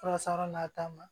Fura sara n'a ta ma